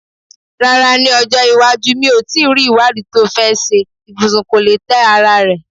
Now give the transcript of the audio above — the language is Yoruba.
Rárá, ní ọjọ́ iwájú, mi ò tí ì rí ìwádìí tó fẹ́ ṣe ibùsùn tó lè tẹ́ ara rẹ̀.